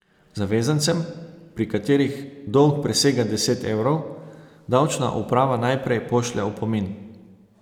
Zavezancem, pri katerih dolg presega deset evrov, davčna uprava najprej pošlje opomin.